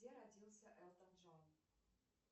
где родился элтон джон